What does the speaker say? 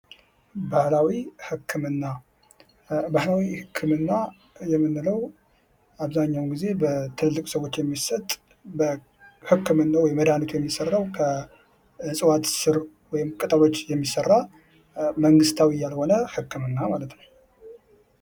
ባህላዊ ህክምና፦ ባህላዊ ህክምና የምንለው አብዛኛውን ጊዜ በትልልቅ ሰወች የሚሰጥ ህክምናው ወይም መድሃኒቱ የሚሠራው ከእጽዋት ስር ወይም ቅጠሎች የሚሰራ መንግስታዊ ያልሆነ ህክምና ማለት ነው።